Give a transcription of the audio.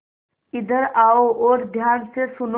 इधर आओ और ध्यान से सुनो